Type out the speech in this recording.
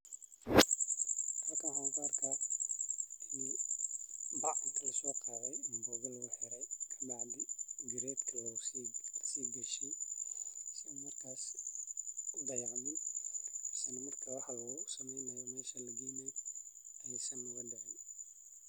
Halkan waxan kuarkaa ini bac lasoqadhe kabacdi garedka lasigaliyey si marka ee udhayacmin marka markas wax lagu sameynayo.